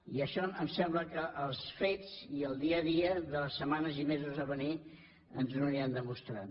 i això em sembla que els fets i el dia a dia de les setmanes i mesos a venir ens ho aniran demostrant